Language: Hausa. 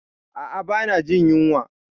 Ah ah ba na jin yunwa